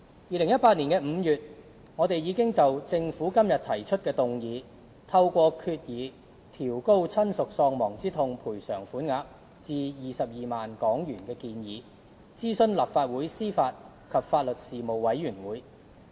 2018年5月，我們已就政府今天提出的議案，透過決議調高親屬喪亡之痛賠償款額至22萬元的建議，諮詢立法會司法及法律事務委員會。